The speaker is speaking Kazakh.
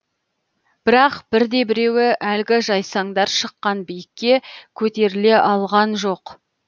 бірақ бірде біреуі әлгі жайсаңдар шыққан биікке көтеріле алған жоқ